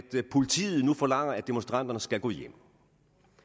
politiet nu forlanger at demonstranterne skal gå hjem